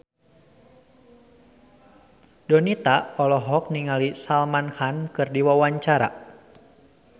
Donita olohok ningali Salman Khan keur diwawancara